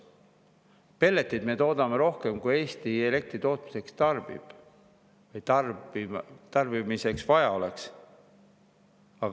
Pelleteid me toodame rohkem, kui Eesti elektritootmiseks tarbib või tarbimiseks vaja oleks.